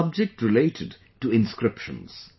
the subject related to inscriptions